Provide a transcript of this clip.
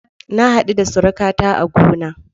Na hadu da surukata a gona.